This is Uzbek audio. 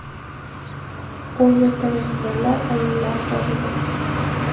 U yerda mehmonlar, ayollar bor edi.